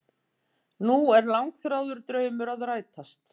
Nú er langþráður draumur að rætast